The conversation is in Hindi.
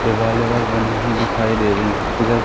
दिवाल ईवॉल बनी हुई दिखाई दे रही हैं किधर--